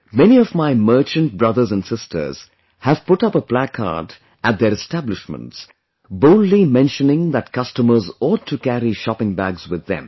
Many of my merchant brothers & sisters have put up a placard at their establishments, boldly mentioning that customers ought to carry shopping bags with them